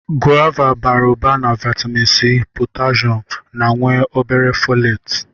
Gova bara ụba na vaịtamịn C, potashum ma nwee o bere fọleetị.